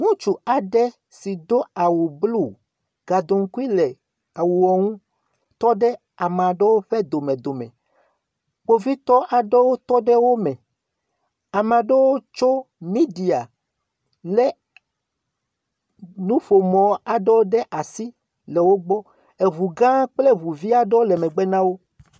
Ŋutsu aɖe si do awu blu, gaɖonkui le awua ŋu, tɔɖe ame aɖewo ƒe domedome. Kpovitɔ aɖewo tɔ ɖe wo me. Ame aɖe wo tso midea ƒomɔ aɖewo ɖe asi le wógbɔ. Eŋu gã aɖe kple eŋu vu aɖe le megbe na wo.